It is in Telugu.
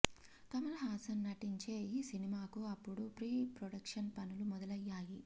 కమల్ హాసన్ నటించే ఈ సినిమాకు అప్పుడు ప్రీ ప్రొడక్షన్ పనులు మొదలయ్యాయి